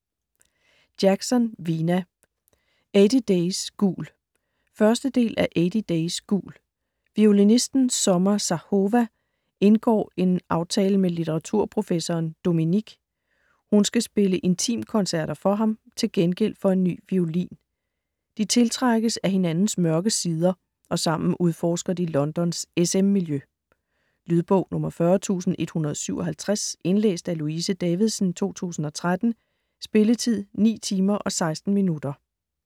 Jackson, Vina: Eighty days gul 1. del af Eighty days gul. Violinisten Summer Zahova indgår en aftale med litteraturprofessoren Dominik. Hun skal spille intimkoncerter for ham, til gengæld for en ny violin. De tiltrækkes af hinandens mørke sider, og sammen udforsker de Londons SM miljø. Lydbog 40157 Indlæst af Louise Davidsen, 2013. Spilletid: 9 timer, 16 minutter.